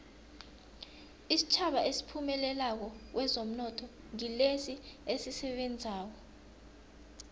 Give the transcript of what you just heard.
isitjhaba esiphumelelako kwezomnotho ngilesi esisebenzako